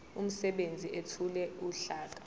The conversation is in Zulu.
umsebenzi ethule uhlaka